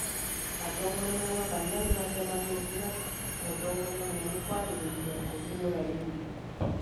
Atongoria a makanitha nĩmacemanĩtie na mũtongoria mũnene kwarĩrĩria kũhingũra rĩngĩ